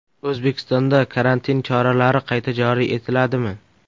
O‘zbekistonda karantin choralari qayta joriy etiladimi?